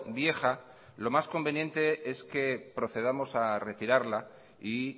vieja lo más conveniente es que procedamos a retirarla y